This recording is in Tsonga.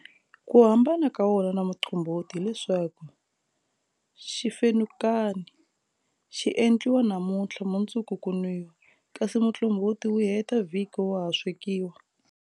Ku hambana ka wona na muqombhoti hileswaku, xifenukani xi endliwa namuntlha mundzuku ku nwiwa, kasi muqombhoti wu heta vhiki wa ha swekiwa.